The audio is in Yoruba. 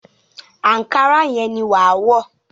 Àńkárá yẹn ni wàá wọ̀